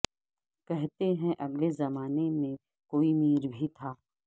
کہتے ہیں اگلے زمانے میں کوئی میر بھی تھا